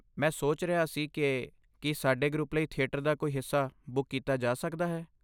ਮੈਂ ਸੋਚ ਰਿਹਾ ਸੀ ਕਿ ਕੀ ਸਾਡੇ ਗਰੁੱਪ ਲਈ ਥੀਏਟਰ ਦਾ ਕੋਈ ਹਿੱਸਾ ਬੁੱਕ ਕੀਤਾ ਜਾ ਸਕਦਾ ਹੈ।